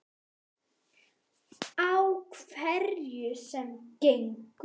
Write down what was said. Á hverju sem gengur.